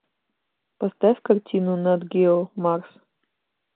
поставь картину нат гео марс